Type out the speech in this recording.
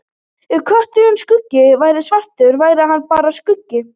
Ef kötturinn Skuggi væri svartari væri hann bara skuggi.